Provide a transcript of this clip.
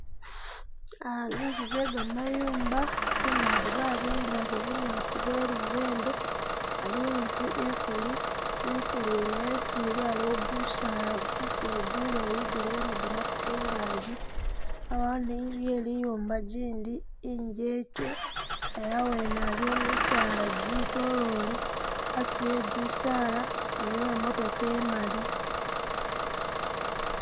Zinzu ze gamayumba kungaji babimbilako bunyaasi bwe lubembe ,aliwo izu ikulu, ikulu yene esi ili aliwo gusaala gukulu guleeyi guliwo ni gamatu kungaji abawo ni inzu ye liyumba jindi injekye ela awene aliwo misaala jitolole asi we gusaala aliwo i'motoka imali.